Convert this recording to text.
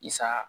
I sa